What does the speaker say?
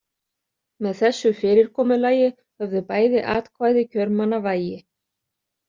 Með þessu fyrirkomulagi höfðu bæði atkvæði kjörmanna vægi.